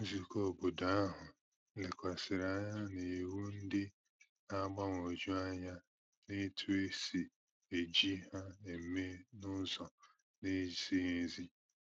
Nzùkọ̀ óbọ̀dò ahu lekwàsịrị anya n’iwu ndị na-agbagwoju anya na etu e si eji ha eme ihe n’ụzọ na-ezighị ezi